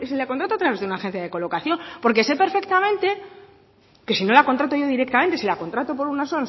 que si la contrato a través de una agencia de colocación porque sé perfectamente que si no la contrato yo directamente si la contrato por unas